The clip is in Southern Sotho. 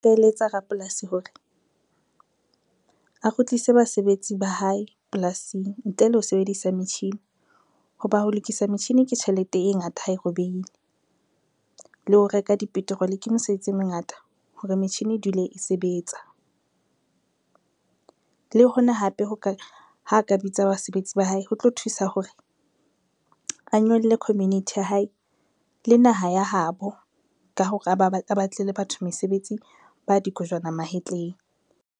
Nka eletsa rapolasi hore, a kgutlise basebetsi ba hae polasing ntle le ho sebedisa metjhini ho ba ho lokisa metjhini ke tjhelete e ngata ha e robeile, le ho reka di-petrol ke mesebetsi e mengata hore metjhini e dule e sebetsa. Le hona hape ha ka bitsa basebetsi ba hae ho tlo thusa hore a nyolle community ya hae le naha ya habo ka hore a ba batlele batho mesebetsi ba dikojwana mahetleng.